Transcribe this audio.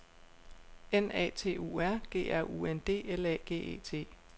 N A T U R G R U N D L A G E T